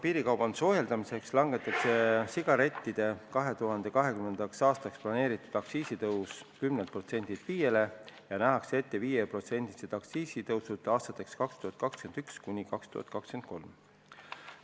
Piirikaubanduse ohjeldamiseks langetatakse sigarettide 2020. aastaks planeeritud aktsiisitõus 10%-lt 5%-le ja nähakse ette 5%-lised aktsiisitõusud aastateks 2021–2023.